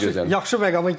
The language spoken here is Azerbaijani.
O yaxşı yaxşı məqama gəldi.